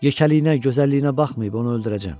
Yekəliyinə, gözəlliyinə baxmayıb onu öldürəcəm.